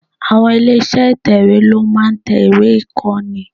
Àwon ilé iṣẹ́ ìtẹ̀wè ló máa ń tẹ ìwé ìkọ́ni.